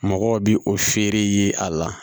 Mɔgɔw bi o feere ye a la